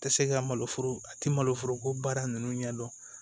Tɛ se ka maloforo a tɛ maloforoko baara ninnu ɲɛdɔn